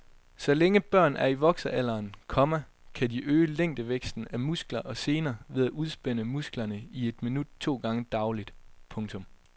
Så længe børn er i voksealderen, komma kan de øge længdevæksten af muskler og sener ved at udspænde musklerne i et minut to gange dagligt. punktum